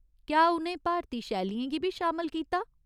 क्या उ'नें भारती शैलियें गी बी शामल कीता?